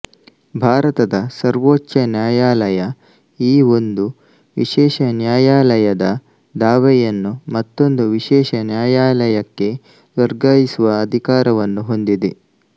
ಭಾರತದ ಸರ್ವೋಚ್ಛ ನ್ಯಾಯಾಲಯ ಈ ಒಂದು ವಿಶೇಷ ನ್ಯಾಯಾಲಯದ ದಾವೆಯನ್ನು ಮತ್ತೊಂದು ವಿಶೇಷ ನ್ಯಾಯಾಲಯಕ್ಕೆ ವರ್ಗಾಯಿಸುವ ಅಧಿಕಾರವನ್ನು ಹೊಂದಿದೆ